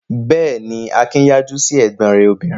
Bẹ́ẹ̀ ni, Akin yájú sí ẹ̀gbọ́n rẹ̀ obìnrin.